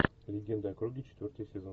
легенда о круге четвертый сезон